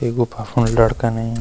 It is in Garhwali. ये गुफा फुण लड़का नयीं।